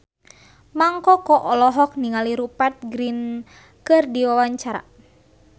Mang Koko olohok ningali Rupert Grin keur diwawancara